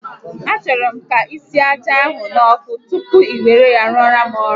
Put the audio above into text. A chọrọ m ka isie aja ahụ n'ọkụ tupu i were ya rụọrọ m ọrụ